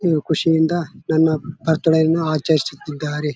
ಇದು ಖುಷಿಯಿಂದ ನನ್ನ ಬರ್ತ್ಡೇ ಅನ್ನ ಆಚರಿಸುತ್ತಿದ್ದಾರೆ.